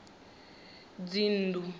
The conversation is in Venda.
dzinnḓu